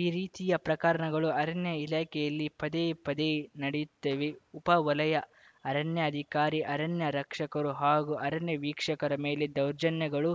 ಈ ರೀತಿಯ ಪ್ರಕರಣಗಳು ಅರಣ್ಯ ಇಲಾಖೆಯಲ್ಲಿ ಪದೇ ಪದೇ ನಡೆಯುತ್ತಿವೆ ಉಪ ವಲಯ ಅರಣ್ಯಾಧಿಕಾರಿ ಅರಣ್ಯ ರಕ್ಷಕರು ಹಾಗೂ ಅರಣ್ಯ ವೀಕ್ಷಕರ ಮೇಲೆ ದೌರ್ಜನ್ಯಗಳು